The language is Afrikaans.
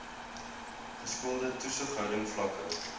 geskoolde toesighouding vlakke